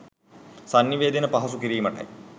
සන්නිවේදනය පහසු කිරීමටයි.